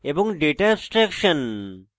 data abstraction